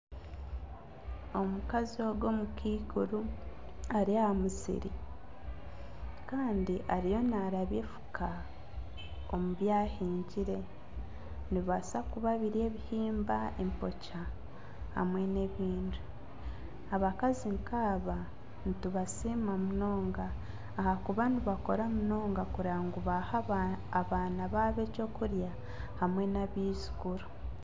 Omukazi ogu omukaikuri ari aha musiri Kandi ariyo narabya enfuka omu byahingire. Nibibasa kuba biri ebihimba , empokya hamwe n'ebindi. Abakazi nkaaba nitubasiima munonga ahakuba nibakora munonga kureba ngu baha abaana babo ekyokurya hamwe n'abaijukuru.